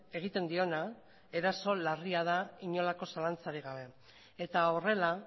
egiten diona eraso larria da inolako zalantzarik gabe eta horrela